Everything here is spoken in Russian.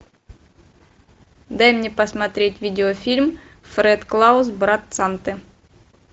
дай мне посмотреть видеофильм фред клаус брат санты